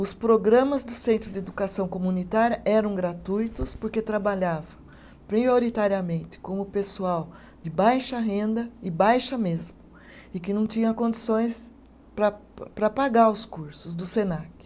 Os programas do Centro de Educação Comunitária eram gratuitos porque trabalhavam prioritariamente com o pessoal de baixa renda e baixa mesmo e que não tinha condições para para pagar os cursos do Senac.